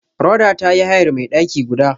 Rhoda ta yi hayar mai daki guda.